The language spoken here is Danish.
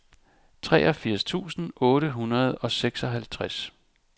treogfirs tusind otte hundrede og seksoghalvtreds